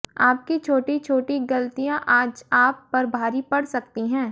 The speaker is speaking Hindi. आपकी छोटी छोटी गलतियां आज आप पर भारी पड़ सकती हैं